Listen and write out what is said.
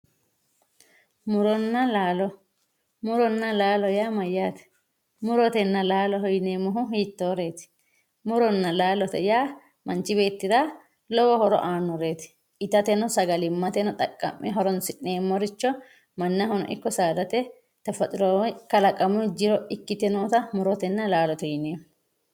Muronna laalo, muronna laalo yaa mayyate, murotenna laalote yineemmori hiittoreti ,murotenna laalote yaa manchi beettira lowo horo aanoreti ittateno sagalimateno xaqa'mineemmo horonsi'neemmoricho mannahono ikko saadate kalaqamu jiro ikkite nootta murotenna laalote yineemmo.